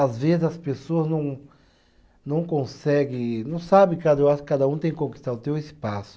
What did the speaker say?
Às vezes as pessoas não, não consegue, não sabe, cada eu acho que cada um tem que conquistar o seu espaço.